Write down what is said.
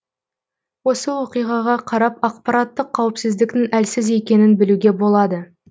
осы оқиғаға қарап ақпараттық қауіпсіздіктің әлсіз екенін білуге болады